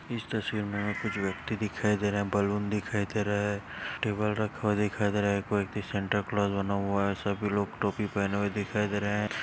इस तस्वीर में आपको जो व्यक्ति दिखाई दे रहा हैं बलून दिखाई दे रहे हैं टेबल रखा हुआ दिखाई दे रहा हैं कोई व्यक्ति सांताक्लॉस बना हुआ है सभी लोग टोपी पहने दिखाई दे रहे हैं।